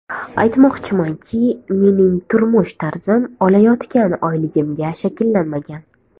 Aytmoqchimanki, mening turmush tarzim olayotgan oyligimga shakllanmagan.